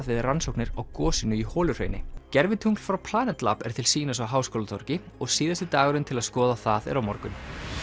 við rannsóknir á gosinu í Holuhrauni gervitungl frá Planet lab er til sýnis á Háskólatorgi og síðasti dagurinn til að skoða það er á morgun